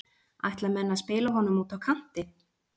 Ætla menn að spila honum úti á kanti?